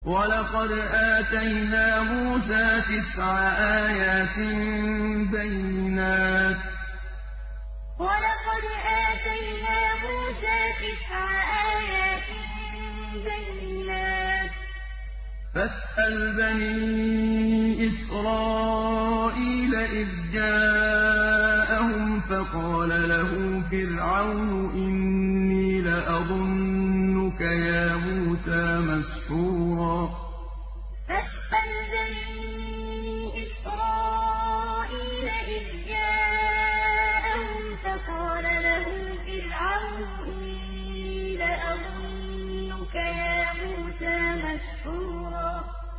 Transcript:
وَلَقَدْ آتَيْنَا مُوسَىٰ تِسْعَ آيَاتٍ بَيِّنَاتٍ ۖ فَاسْأَلْ بَنِي إِسْرَائِيلَ إِذْ جَاءَهُمْ فَقَالَ لَهُ فِرْعَوْنُ إِنِّي لَأَظُنُّكَ يَا مُوسَىٰ مَسْحُورًا وَلَقَدْ آتَيْنَا مُوسَىٰ تِسْعَ آيَاتٍ بَيِّنَاتٍ ۖ فَاسْأَلْ بَنِي إِسْرَائِيلَ إِذْ جَاءَهُمْ فَقَالَ لَهُ فِرْعَوْنُ إِنِّي لَأَظُنُّكَ يَا مُوسَىٰ مَسْحُورًا